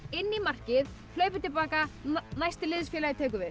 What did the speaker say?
inn í markið hlaupið til baka næsti liðsfélagi tekur við